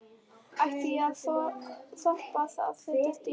Ætti ég að þora að setjast í hann?